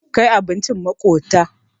Kai abincin maƙota.